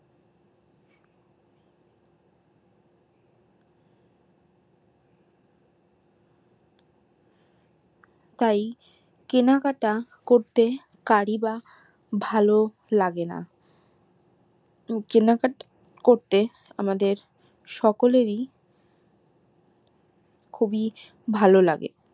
তাই কেনাকাটা করতে কারি বা ভালো লাগে না কেনাকাটা করতে আমাদের সকলেরই খুবই ভালো লাগে